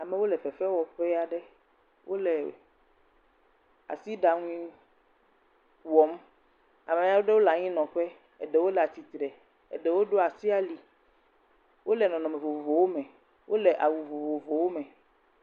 Amewo le fefe wɔƒea ɖe, wole asi ɖaŋui wɔm, amea ɖowo le anyi nɔƒe, eɖewo le atitre, eɖewo ɖo asi ali, ole nɔnɔme vovovowo me, ole awu vovovowo me.